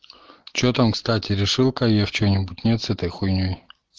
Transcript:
че там кстати решил каеф че-нибудь нет с этой хуйней